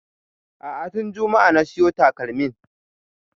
A'a tun juma'a na siyo takalmin